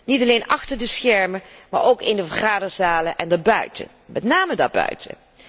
Niet alleen achter de schermen, maar ook in de vergaderzalen en daarbuiten, met name daarbuiten.